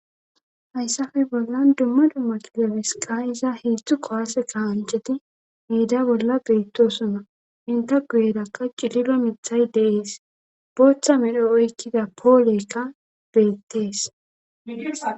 hayssafe bollan dumma dumma kilabisi ka'iza heedzdzu qowase kahancheti miida bolla beettosuna inta guyerakka cililo mithay deees booththa medho oykkida poolekka beettees